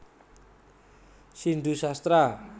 Sindu Sastra